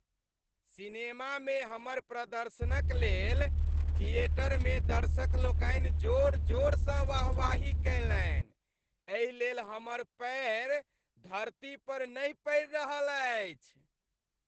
सिनेमामे हमर प्रदर्शनक लेल थिएटरमे दर्शकलोकनि जोर जोरसँ वाहवाही कयलनि, एहि लेल हमर पयर धरती पर नहि पड़ि रहल अछि।